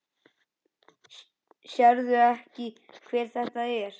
Sérðu ekki hver þetta er?